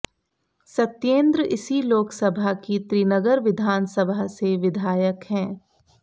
सत्येंद्र इसी लोकसभा की त्रिनगर विधानसभा से विधायक हैं